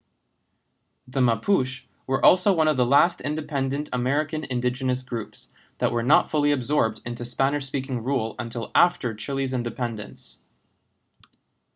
the mapuche were also one of the last independent american indigenous groups that were not fully absorbed into spanish-speaking rule until after chile's independence